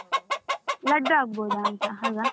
Laddu ಆಗ್ಬಹುದಂತಲಾ?